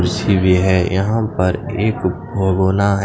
कुर्सी भी हे यहाँ पे एक भगोना हैं।